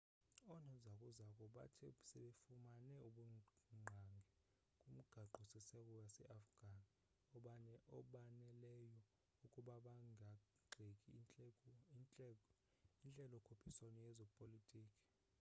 oonozakuzaku bathe sebefumane ubungqangi kumgaqo-siseko waseafghan obaneleyo ukuba bangagxeka intlelo-khuphiswano yezepolitki